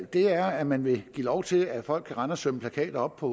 er at man vil give lov til at folk kan rende og sømme plakater op på